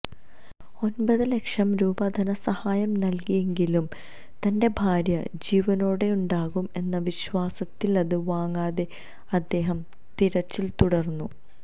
ഒന്പത് ലക്ഷം രൂപ ധനസഹായം നല്കിയെങ്കിലും തന്റെ ഭാര്യ ജീവനോടെയുണ്ടാകും എന്ന വിശ്വാസത്തില് അത് വാങ്ങാതെ അദ്ദേഹം തിരച്ചില് തുടര്ന്നു